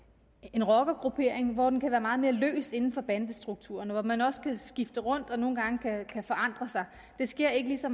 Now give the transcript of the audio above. en rockergruppering hvor den kan være meget mere løs inden for bandestrukturen og hvor man også kan skifte rundt og nogle gange kan forandre sig det sker ikke lige så